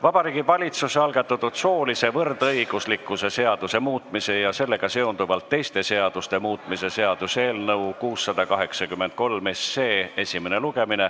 Vabariigi Valitsuse algatatud soolise võrdõiguslikkuse seaduse muutmise ja sellega seonduvalt teiste seaduste muutmise seaduse eelnõu 683 esimene lugemine.